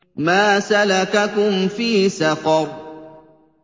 مَا سَلَكَكُمْ فِي سَقَرَ